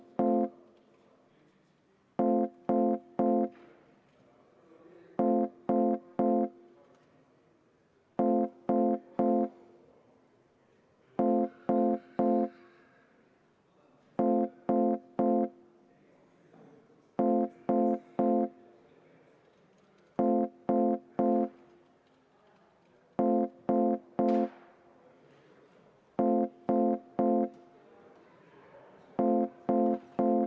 Kui eelmist samasugust poliitilist avaldust oodati peaminister Jüri Rataselt, siis kuulutasin ma välja vaheaja, et seda arutada.